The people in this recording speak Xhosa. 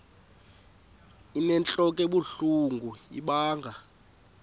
inentlok ebuhlungu ibanga